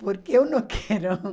Porque eu não quero.